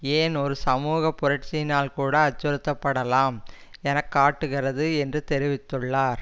ஏன் ஒரு சமூக புரட்சியினால் கூட அச்சுறுத்தப்படலாம் என காட்டுகிறது என்று தெரிவித்துள்ளார்